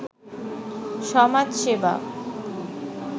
সমাজ সেবা